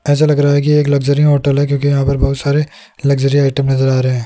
ऐसा लग रहा है कि एक लग्जरी होटल है क्योंकि यहां पर बहोत सारे लग्जरी आइटम नजर आ रहे--